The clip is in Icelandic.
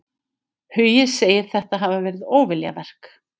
Hugi segir þetta hafa verið óviljaverk.